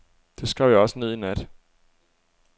Det skrev jeg også ned i nat.